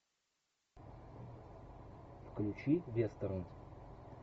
включи вестерн